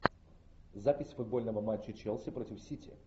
запись футбольного матча челси против сити